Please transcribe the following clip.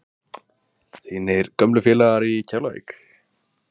Þínir gömlu félagar í Keflavík?